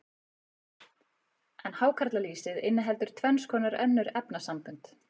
en hákarlalýsið inniheldur tvenns konar önnur efnasambönd